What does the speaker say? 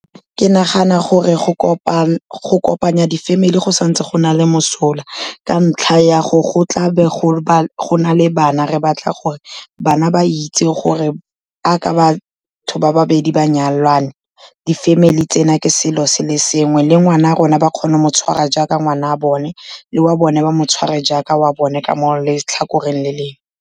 Ke nagana gore go kopanya di-family go santse go na le mosola ka ntlha ya gore go tla be go na le bana, re batla gore bana ba itse gore jaaka batho ba babedi ba nyalane, di-family tsena ke selo se le sengwe, le ngwana rona ba kgone go motshwara jaaka ngwana wa bone le wa bone ba mo tshware jaaka wa bone ka mo letlhakoreng le lengwe.